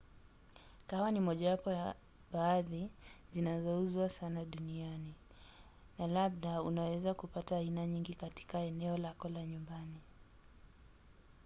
kahawa ni mojawapo ya bidhaa zinazouzwa sana duniani na labda unaweza kupata aina nyingi katika eneo lako la nyumbani